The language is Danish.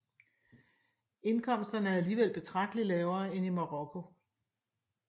Indkomsterne er alligevel betragteligt lavere end i Marokko